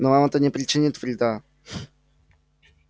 но вам это не причинит вреда